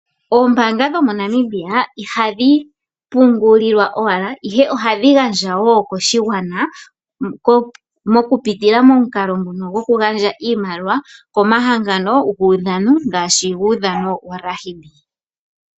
Oombanga dhomoNamibia ihadhi pungulilwa owala ihe ohadhi gandja woo koshigwana mokuputila momukalo nguno goku gandja iimaliwa komahangano guudhano ngaashi guudhano womokambamba.